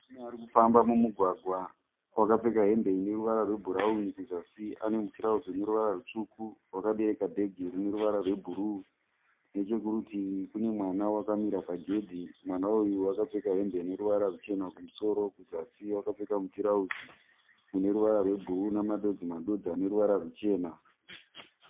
Murume ari kufamba mumugwagwa wakapfeka hembe ine ruvara rwebhurawuni. Kuzasi ane mutirauzi une ruvara rutsvuku. Wakabereka bhegi rine ruvara rwebhuruu. Nechekurutivi kune mwana wakamira pagedhi. Mwana uyu wakapfeka hembe ine ruvara ruchena kumusoro. Kuzasi wakapfeka mutirauzi une ruvara rwebhuruu nemadodzi madodzi ane ruvara rwuchena.